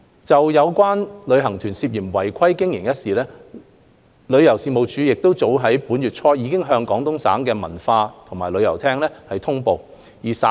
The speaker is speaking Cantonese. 就有旅行團涉嫌違法經營一事，旅遊事務署早於本月初已向廣東省文化和旅遊廳通報事件。